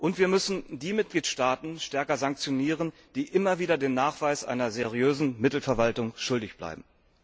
Und wir müssen die Mitgliedstaaten stärker sanktionieren, die immer wieder den Nachweis einer seriösen Mittelverwaltung schuldig bleiben.